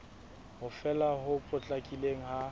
ho fela ho potlakileng ha